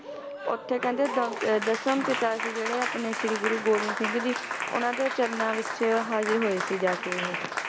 ਓਥੇ ਕਹਿੰਦੇ ਦਮ~ ਅਹ ਦਸਮ ਪਿਤਾ ਸੀ ਜਿਹੜੇ ਆਪਣੇ ਸ਼੍ਰੀ ਗੁਰੂ ਗੋਬਿੰਦ ਸਿੰਘ ਜੀ, ਉਹਨਾਂ ਦੇ ਚਰਨਾਂ ਵਿਚ ਹਾਜ਼ਿਰ ਹੋਏ ਸੀ ਜਾ ਕੇ ਇਹ